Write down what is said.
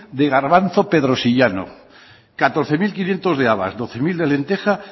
de garbanzo pedrosillano catorce mil quinientos de habas doce mil de lenteja